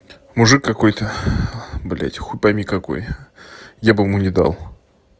мужик какой-то блядь хуй пойми какой я бы ему не дал